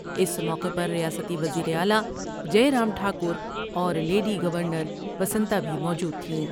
اس موقع پر ریاستی وزیراعلی جئے رام ٹھا کر اور لیڈی گورنر وسنتا بھی موجود تھیں ۔